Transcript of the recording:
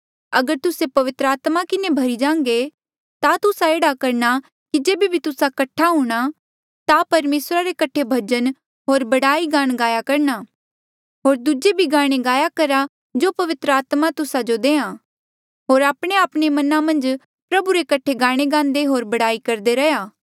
अगर तुस्से पवित्र आत्मा किन्हें भरी जांघे ता तुस्सा एह्ड़ा करणा कि जेबे भी तुस्सा कठ्ठा हूंणा ता परमेसरा रे कठे भजन होर बड़ाई गान गाया करणा होर दूजे भी गाणे गाया करहा जो पवित्र आत्मा तुस्सा जो देहां होर आपणेआपणे मना मन्झ प्रभु रे कठे गाणे गान्दे होर बड़ाई करदे रैहया